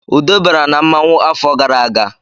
Ude bara na mmanwu afọ gara aga